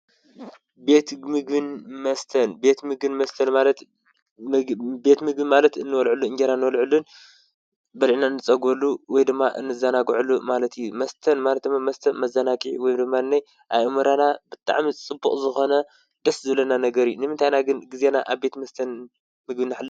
ቤት ምግን መስተን ትምግን መስተን ማለቤትሚግን ማለት እንወልዕሉ እንጌይና ንወልዕሉን በልዕና ንጸጐሉ ወይ ድማ እንዛናጕዕሉ ማለቱ መስተን ማለተመ መስተብ መዛናቂሕ ወይምማነይ ኣይእምራና ብጥዕ ሚ ጽቡቕ ዝኾነ ደስ ዘለና ነገር ንምንታይና ግን ጊዜና ኣብ ቤት መስተን ምግን ኀለ